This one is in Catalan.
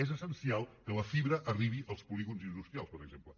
és essencial que la fibra arribi als polígons industrials per exemple